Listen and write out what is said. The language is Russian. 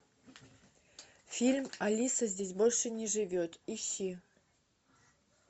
фильм алиса здесь больше не живет ищи